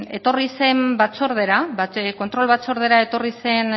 etorri zen batzordera kontrol batzordera etorri zen